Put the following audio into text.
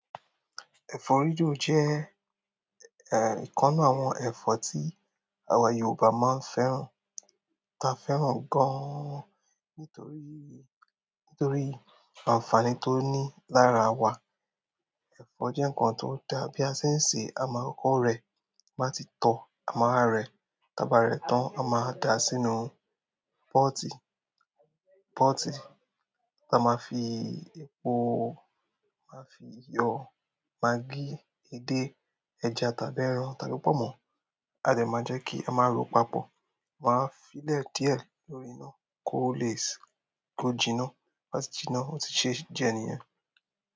Ẹ̀fọ́ ríro jẹ́, eh, ìkan nu àwọn ẹ̀fọ́ tí àwa Yorùbá máa ń fẹ́ràn. Ta fẹ́ràn gan-an nítorí, nítorí àǹfààní tó ní lára wa. Ẹ̀fọ́ jẹ́ nǹkan tó dá bí a ṣe ń se, ama kokọ̀ rẹ̀ bá ti tọ, ama wa rẹ̀ taba rẹ̀ tán. A máa da sínú pọ́ọ́tì, pọ́ọ́tì. A máa fi epo, máa fi iyọ̀, magí, edé, ẹja tàbí ẹran tàbí pọ̀n mọ́. A dè máa jẹ́ kí a máa ro papọ̀, amá wa fi lè díẹ̀ lórí iná, ko le se, ko jìnnà. To ba sì jìnà, ó ti ṣe jẹ́ ni yen.